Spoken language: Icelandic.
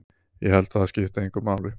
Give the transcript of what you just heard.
Ég held að það skipti engu máli.